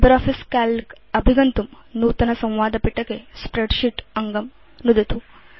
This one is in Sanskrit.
लिब्रियोफिस काल्क अभिगन्तुं नूतन संवादपिटके स्प्रेडशीट् अङ्गं नुदतु